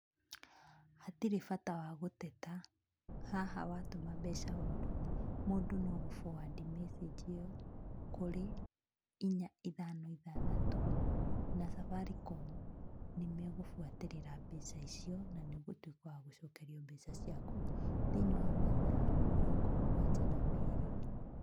Hatirĩ bata wa gũteta, haha watũma mbeca ũru, mũndũ no gũ- forward message ĩyo kũrĩ inya ithano ithathatũ, na Safaricom nĩ megũbuatĩrĩra mbeca icio, na nĩ ũgũtuĩka wa gũcokerio mbeca ciaku thĩ-inĩ wa mathaa mĩrongo mũgwanja na merĩ.